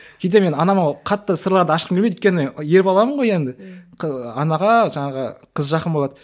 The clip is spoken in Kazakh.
кейде мен анама қатты сырларды ашқым келмейді өйткені ер баламын ғой енді анаға жаңағы қыз жақын болады